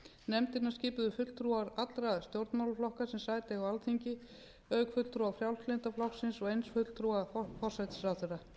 nefndina skipuðu fulltrúar allra stjórnmálaflokka sem sæti eiga á alþingi auk fulltrúa frjálslynda flokksins og eins fulltrúa forsætisráðherra